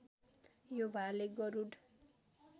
यो भाले गरूड